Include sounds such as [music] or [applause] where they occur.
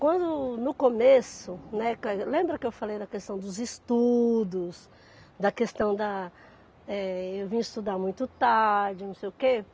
Quando, no começo, né, [unintelligible] lembra que eu falei da questão dos estudos, da questão da, eh, eu vim estudar muito tarde, não sei o quê.